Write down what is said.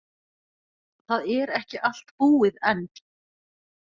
Það er ekki allt búið enn.